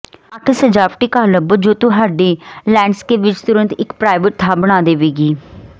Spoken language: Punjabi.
ਅੱਠ ਸਜਾਵਟੀ ਘਾਹ ਲੱਭੋ ਜੋ ਤੁਹਾਡੇ ਲੈਂਡਸਕੇਪ ਵਿਚ ਤੁਰੰਤ ਇਕ ਪ੍ਰਾਈਵੇਟ ਥਾਂ ਬਣਾ ਦੇਣਗੇ